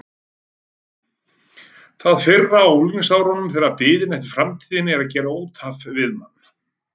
Það fyrra á unglingsárunum þegar biðin eftir framtíðinni er að gera út af við mann.